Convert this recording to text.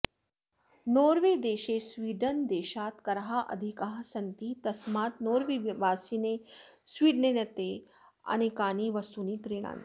नोर्वेदेशे स्वीडनदेशात् कराः अधिकाः सन्ति तस्मात् नोर्वेवासिनः स्वीडेनतः अनेकानि वस्तूनि क्रीणन्ति